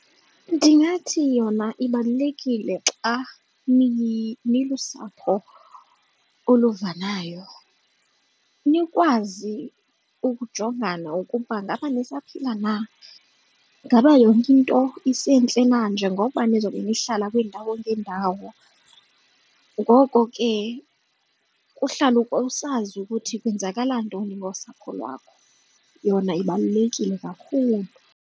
Ndingathi yona ibalulekile xa nilusapho oluvanayo, nikwazi ukujongana ukuba ngaba nisaphila na, ngaba yonke into isentle na njengokuba nizobe nihlala kwiindawo ngeendawo. Ngoko ke kuhlale usazi ukuthi kwenzakala ntoni ngosapho lwakho. Yona ibalulekile kakhulu.